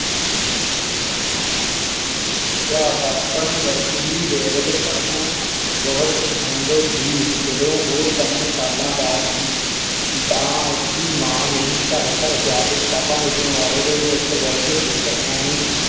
ਬਚਪਨ ਵਿੱਚ ਹੀ ਵੈੱਲ ਚ ਪੜ੍ਹਨਾ ਬਚਪਨ ਵਿੱਚ ਹੀ ਵੈੱਲ ਚ ਪੜ੍ਹਨਾ ਬਹੁਤ ਪਸੰਦ ਸੀ ਜਦੋ ਓ ਤਿਨ ਸਾਲਾਂ ਦਾ ਸੀ ਤਾ ਉਸ ਦੀ ਮਾਂ ਨੇ ਘਰ ਘਰ ਜਾ ਕੇ ਕਿਤਾਬਾਂ ਵੇਚਣ ਵਾਲੇ ਤੋਂ ਇਕ ਵਲਡ ਬੁਕ ਐਨ